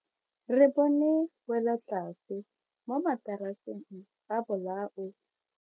Re bone welotlase mo mataraseng a bolao.